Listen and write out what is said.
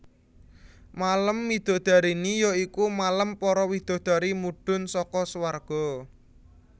Malem midodareni ya iku malem para widadari mudhun saka suwarga